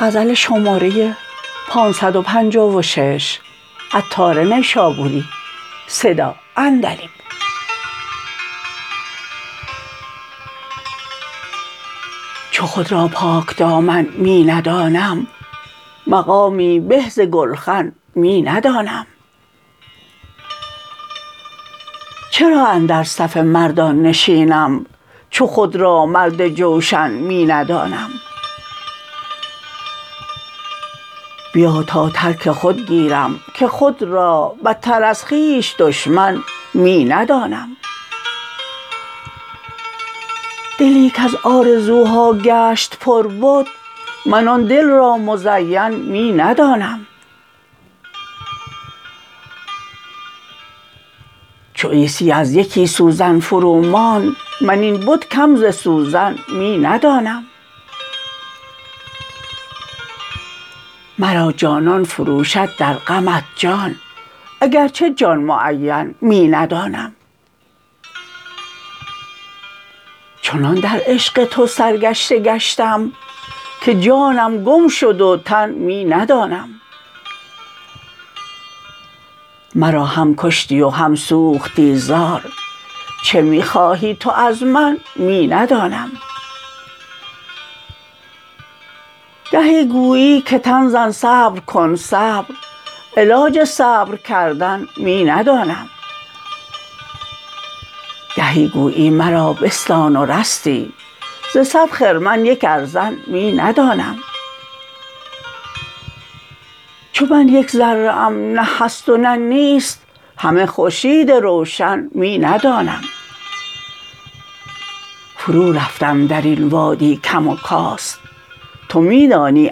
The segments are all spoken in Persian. چو خود را پاک دامن می ندانم مقامی به ز گلخن می ندانم چرا اندر صف مردان نشینم چو خود را مرد جوشن می ندانم بیا تا ترک خود گیرم که خود را بتر از خویش دشمن می ندانم دلی کز آرزوها گشت پر بت من آن دل را مزین می ندانم چو عیسی از یکی سوزن فروماند من این بت کم ز سوزن می ندانم مرا جانان فروشد در غمت جان اگرچه جان معین می ندانم چنان در عشق تو سرگشته گشتم که جانم گم شد و تن می ندانم مرا هم کشتی و هم سوختی زار چه می خواهی تو از من می ندانم گهی گویی که تن زن صبر کن صبر علاج صبر کردن می ندانم گهی گویی مرا بستان ورستی ز صد خرمن یک ارزن می ندانم چون من یک ذره ام نه هست و نه نیست همه خورشید روشن می ندانم فرو رفتم در این وادی کم و کاست تو می دانی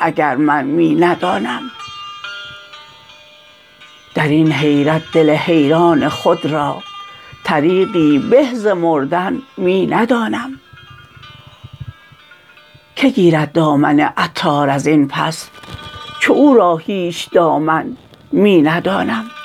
اگر من می ندانم درین حیرت دل حیران خود را طریقی به ز مردن می ندانم که گیرد دامن عطار ازین پس چو او را هیچ دامن می ندانم